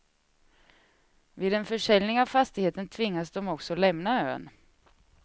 Vid en försäljning av fastigheten tvingas de också lämna ön.